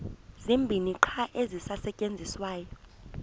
zibini qha ezisasetyenziswayo